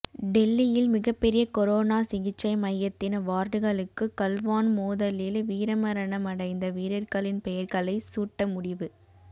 டெல்லியில் மிகப்பெரிய கொரோனா சிகிச்சை மையத்தின் வார்டுகளுக்கு கல்வான் மோதலில் வீரமரணமடைந்த வீரர்களின் பெயர்களை சூட்ட முடிவு